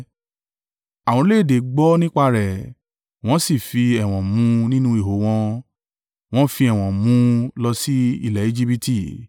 Àwọn orílẹ̀-èdè gbọ́ nípa rẹ̀, wọ́n sì fi ẹ̀wọ̀n mú un nínú iho wọn. Wọn fi ẹ̀wọ̀n mu nu lọ sí ilẹ̀ Ejibiti.